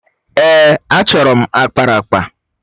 Èè, achọrọ m akparaakpa.